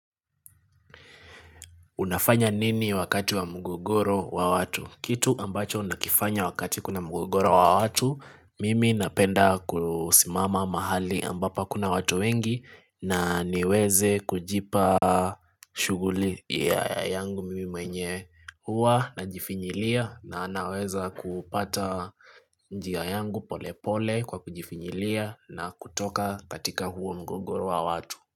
Unafanya nini wakati wa mgogoro wa watu? Kitu ambacho unakifanya wakati kuna mgogoro wa watu, mimi napenda kusimama mahali ambapo hakuna watu wengi na niweze kujipa shughuli ya yangu mimi mwenye huwa najifinyilia na naweza kupata njia yangu pole pole kwa kujifinyilia na kutoka katika huo mgogoro wa watu.